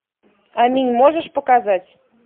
аминь можешь показать